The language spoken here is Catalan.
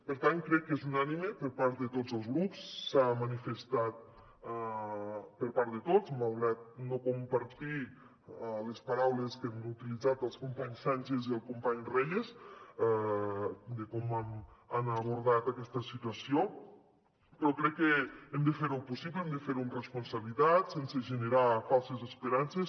per tant crec que és unànime per part de tots els grups s’ha manifestat per part de tots malgrat que no comparteixo les paraules que han utilitzat el company sánchez i el company reyes de com han abordat aquesta situació però crec que hem de fer ho possible hem de fer ho amb responsabilitat sense generar falses esperances